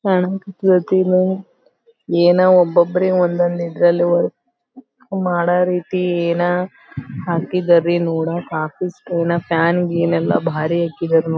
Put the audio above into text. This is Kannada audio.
ಏನ ಒಬ್ಬೊಬ್ರಿಗ್ ಒಂದ್ ಒಂದ್ ಇದ್ರಲ್ಲಿ ಮಾಡ ರೀತಿ ಏನೋ ಹಾಕಿದರಿ ನೋಡಾಕ ಆಫೀಸ್ ಫ್ಯಾನ್ ಗೀನ್ ಎಲ್ಲ ಭಾರಿ ಹಾಕಿದಾರ್--